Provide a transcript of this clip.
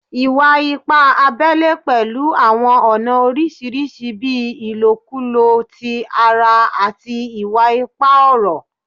Iwa-ipa abẹle pẹlu awọn ọna oriṣiriṣi bii ilokulo ti ara ati iwa-ipa ọrọ